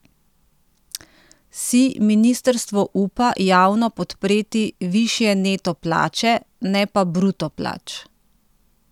Si ministrstvo upa javno podpreti višje neto plače, ne pa bruto plač?